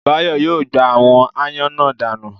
Báyọ̀ yóò gbá àwọn ááyán náà danù